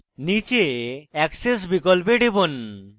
নীচে axes বিকল্পে টিপুন